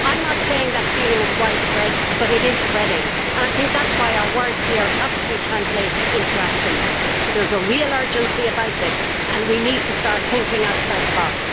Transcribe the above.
I am not saying that that feeling is widespread, but it is spreading, and I think that is why our words here have to be translated into action. There is a real urgency about this and we need to start thinking outside the box.